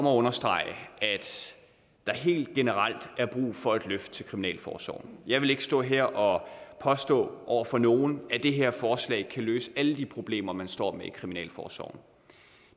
at understrege at der helt generelt er brug for et løft til kriminalforsorgen jeg vil ikke stå her og påstå over for nogen at det her forslag kan løse alle de problemer man står med i kriminalforsorgen